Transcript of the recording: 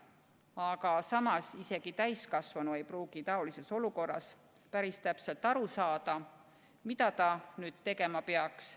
Aga samas isegi täiskasvanu ei pruugi taolises olukorras päris täpselt aru saada, mida ta tegema peaks.